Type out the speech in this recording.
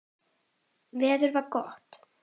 Veður var gott.